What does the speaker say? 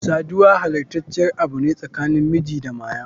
Sadiwa halastaciyar Abu ne tsakanin miji da Maya.